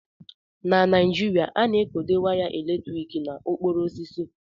Na Naijiria, a na-ekode waya eletrik na okporo osisi.